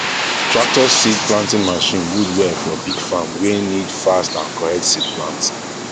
tractor seed planting machine good well for big farm wey need fast and correct seed planting